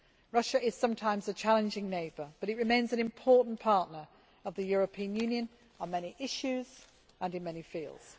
Russia is sometimes a challenging neighbour, but it remains an important partner of the European Union on many issues and in many fields.